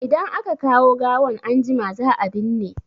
Idan aka kawo gawan anjima, za a binne.